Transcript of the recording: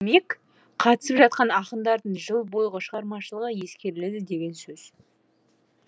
демек қатысып жатқан ақындардың жыл бойғы шығармашылығы ескеріледі деген сөз